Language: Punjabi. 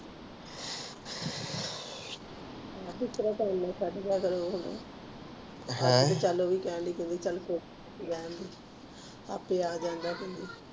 ਬਿਸਤਰਾ ਕਰਲਾ ਭਰਾ ਅਹ ਕਲ ਵੀ ਉਹਵੀ ਕਹਿੰਦੀ ਆਪੇ ਆ ਜਾਣਦਾਂ